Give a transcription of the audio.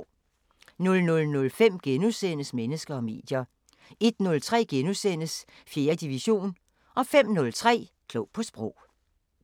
00:05: Mennesker og medier * 01:03: 4. division * 05:03: Klog på Sprog